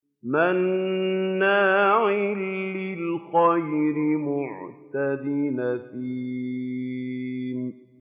مَّنَّاعٍ لِّلْخَيْرِ مُعْتَدٍ أَثِيمٍ